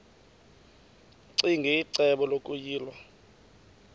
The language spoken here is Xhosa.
ccinge icebo lokuyilwa